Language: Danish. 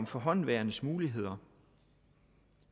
forhåndenværende muligheder